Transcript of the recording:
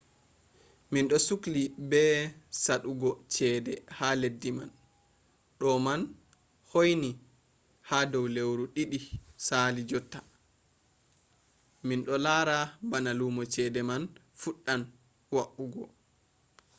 minɗo sukli be saɗugo cede ha leddi man ɗo ma hoini ha dow lewru ɗiɗi sali jotta minɗo lara bana lumo cede man fuɗɗan wa’ugo